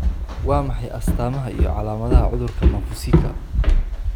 Waa maxay astamaha iyo calaamadaha cudurka Maffuccika?